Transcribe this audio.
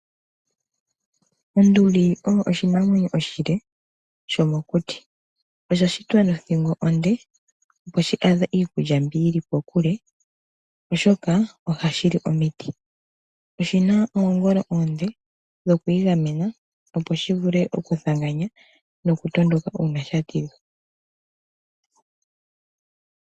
Onduli oyo oshinamwenyo oshile shomokuti. Osha shitwa nothingo onde opo shi adhe iikulya mbi yili kokule oshoka ohashi li omiti. Oshina oongolo oonde dhokwiigamena opo shi vule okuthanganya uuna sha tidhwa.